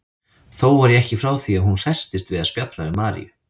Þó var ég ekki frá því að hún hresstist við að spjalla við Maríu.